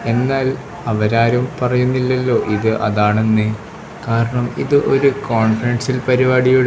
എന്നാൽ അവരാരും പറയുന്നില്ലല്ലോ ഇത് അതാണെന്ന് കാരണം ഇത് ഒരു കോൺഫിഡൻഷ്യൽ പരിപാടിയുടെ --